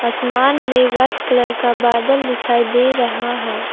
आसमान में white colour का बादल दिखाई दे रहा है।